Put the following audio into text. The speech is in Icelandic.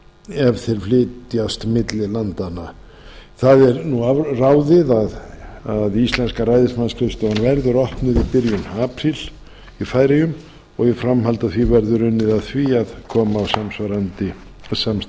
ef þeir flytjast milli landanna það er nú afráðið að íslenska ræðismannsskrifstofan verður opnuð í byrjun apríl í færeyjum og í framhaldi af því verður unnið að því að koma á samsvarandi samstarfi